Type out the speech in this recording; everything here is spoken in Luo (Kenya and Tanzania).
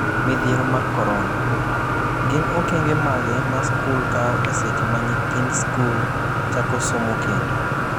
Midhiero mar Korona: Gin okenge mage ma skul kawo e seche ma nyithind sikul chako somo kendo?